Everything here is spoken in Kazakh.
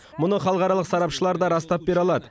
мұны халықаралық сарапшылар да растап бере алады